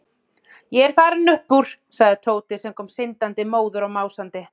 Ég er farinn upp úr sagði Tóti sem kom syndandi, móður og másandi.